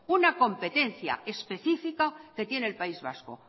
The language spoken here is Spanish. una competencia específica que tiene el país vasco